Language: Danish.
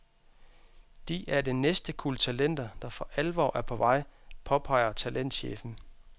De er det næste kuld talenter, der for alvor er på vej, påpeger talentchefen.